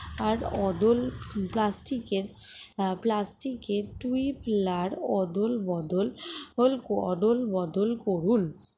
আর অদল plastic এর plastic এর tupler অদল বদল হোল অদল বদল করুন